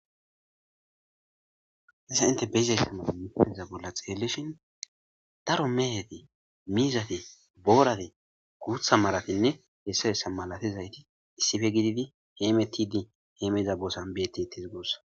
Hessa inte beyzayssamata mifeteza bolla xeellishin daro mehete miizate boorate guutha maratinne hessa hessa malatizayti issife gididi heemetidi heemeza boosan beetitis goossa.